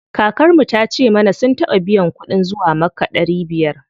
Kakar mu tace mana sun taɓa biyan kuɗin zuwa makka ɗari biyar.